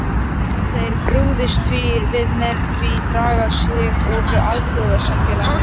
Þeir brugðist því við með því draga sig úr alþjóðasamfélaginu.